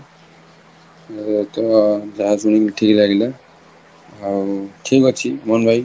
ଅ ତମ ଯାହା ସୁଣୀକି ଠିକ ଲାଗିଲା ଆଉ ଯହୀଙ୍କ ଅଛି ଅମନ ଭାଇ